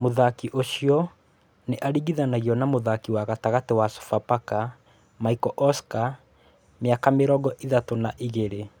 Muthaki ũcio nĩ aringithanagio na mũthaki wa gatagatĩ wa Sofapaka, Michael Oscar miaka mĩrongo ĩthatũ na igĩrĩ.